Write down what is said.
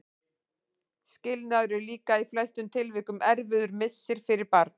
Skilnaður er líka í flestum tilvikum erfiður missir fyrir barn.